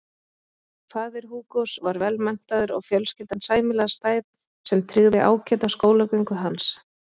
Faðir Hugos var vel menntaður og fjölskyldan sæmilega stæð sem tryggði ágæta skólagöngu hans.